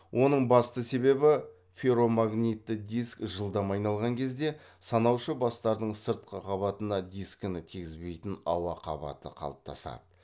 оның басты себебі ферромагнитті диск жылдам айналған кезде санаушы бастардың сыртқы қабатына дискіні тигізбейтін ауа қабаты қалыптасады